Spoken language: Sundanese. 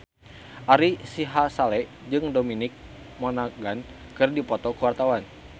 Ari Sihasale jeung Dominic Monaghan keur dipoto ku wartawan